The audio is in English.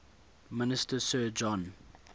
minister sir john